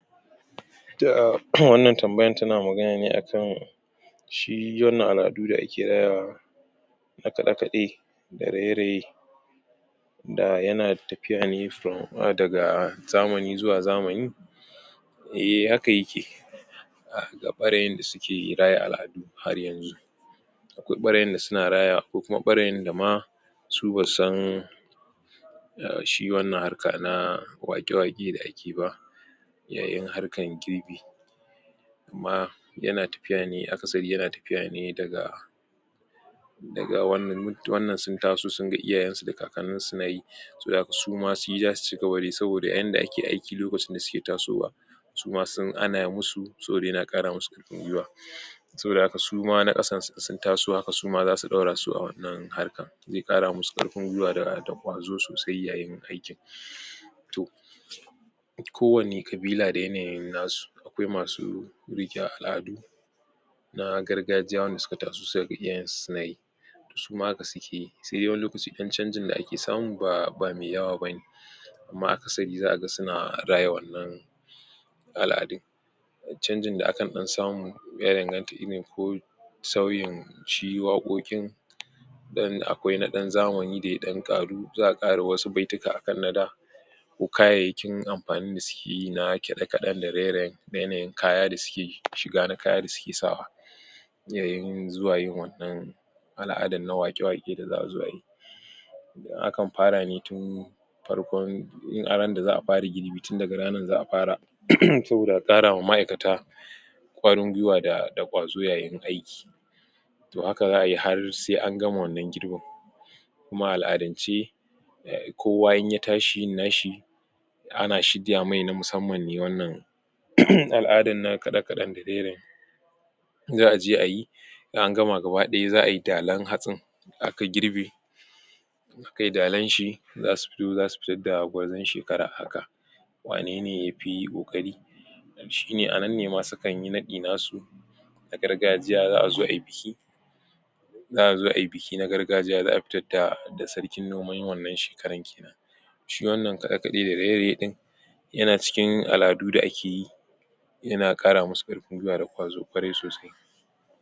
To wannan tambaya ta na magana ne a kan shi wannan al'adu da ake rayawa na kaɗe-kaɗe da raye-raye da yana tafiya ne from daga zamani zuwa zamani. Eh haka ya ke ga ɓarayin da su ke raya al'adu har yanzu. Akwai ɓarayin da su na raya akwai kuma ɓarayin da ma su ba su san shi wannan harka na waƙe-waƙe da ake ba yayin harkar girbi. Kuma yana tafiya ne akasari yana tafiya ne daga daga wannan wannan sun ta so sun ga iyayensu da kakanninsu su na yi saboda haka su ma shi za su cigaba dayi, saboda yanda ake aiki lokacin da suke tasowa su ma sun ana musu saboda yana ƙara musu gwiwa saboda haka su ma na ƙasan su sun taso haka zasu ɗaura su a wannan harka zai ƙara musu ƙarfin gwiwa da da ƙwazo sosai yayin aikin. To kowa ne kabila da yana yin na su, akwai masu riƙe al'adu na gargajiya wanda su ka taso su ka ga iyayensu su na yi su ma haka su keyi sai dai wani lokaci ɗan chanjin da ake samu ba ba mai yawa bane. amma akasari za’a ga ka su na raya wannan al'adun. Cangin da akan ɗan samu ya danganta irin ko sauyin shi waƙoƙin don akwai na ɗan zamani da ya ɗan ƙaru za’a ƙara wasu baitika akan na da, ko kayayyakin amfani da su ke yi na ƙiɗa-kaɗen da raye-rayen da yanayin kaya da su ke shiga na kaya da su ke sawa. Yayin zuwa yin wannan al'adan na waƙe-waƙe da za’a zo ayi akan fara ne tun farkon ran da za’a far girbi tun daga ranar za’a fara [uuhmm] saboda a ƙara ma ma'aikata ƙwarin gwiwa da da ƙwazo yayin aiki. To haka za’a yi har sai an gama wannan girbin. Kuma a al'adance, kowa in ya tashi yin na shi, ana shirya mai na musamma ne wannan [uhmm] al'adan na kaɗe-kaɗen da raye-raye za’a je ayi in an gama gaba ɗaya za ayi dalan hatsin aka girbe in akayi dalan shi, za su fito za su fitar da gwarzon shekara a haka wanene yafi ƙoƙari shi ne anan ne ma su kan yi naɗi na su na gargajiya za’a zo ai biki za’a zo ayi biki na gargajiya za’a fitar da da sarkin noman wannan shekaran kenan shi wanna kaɗe-kaɗe da raye-raye ɗin yana cikin al'adu da ake yi yana ƙara musu ƙarfin gwiwa da ƙwazo ƙwarai sosai.